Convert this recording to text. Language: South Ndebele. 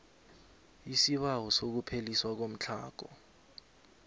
isibawo sokupheliswa komtlhago